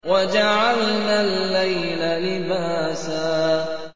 وَجَعَلْنَا اللَّيْلَ لِبَاسًا